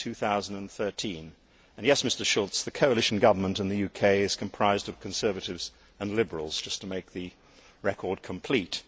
2013. And yes, Mr Schulz, the coalition government in the UK comprises Conservatives and Liberals just to make the record complete.